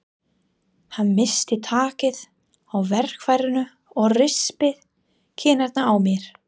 Hann missti takið á verkfærinu og rispaði kinnina á mér.